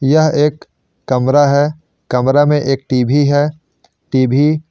यह एक कमरा है कमरे में एक टी_वी है टी_वी --